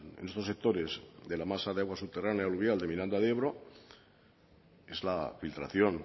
en estos sectores de la masa de agua subterránea aluvial de miranda de ebro es la filtración